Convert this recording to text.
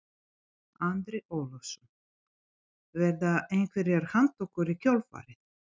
Andri Ólafsson: Verða einhverjar handtökur í kjölfarið?